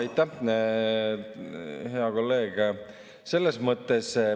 Aitäh, hea kolleeg!